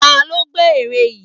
Ta ló gbẹ́ ère yìí?